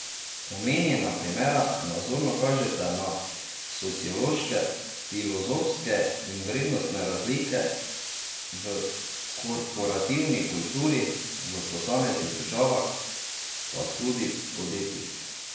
Omenjena primera nazorno kažeta na sociološke, filozofske in vrednostne razlike v korporativni kulturi v posameznih državah, pa tudi podjetjih.